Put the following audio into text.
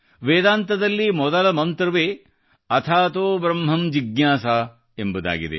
ವೇದಾಂತದಲ್ಲಿ ಮೊದಲ ಮಂತ್ರವೇ ಅಥಾತೊ ಬ್ರಹ್ಮಮ್ ಜಿಜ್ಞಾಸಾ ಎಂಬುದಾಗಿದೆ